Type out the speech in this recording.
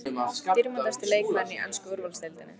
Dýrmætasti leikmaðurinn í ensku úrvalsdeildinni?